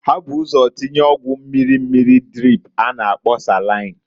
Ha bu ụzọ tinya ọgwụ mmiri mmiri drip a na-akpo salain.